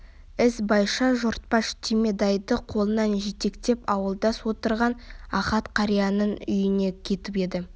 ізбайша жортпаш түйметайды қолынан жетектеп ауылдас отырған ахат қарияның үйіне кетіп еді